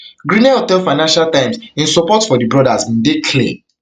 grenell tell financial times im support for di brothers bin dey clear